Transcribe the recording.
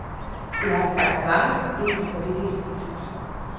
Det har skabt mange problemer på dette institut.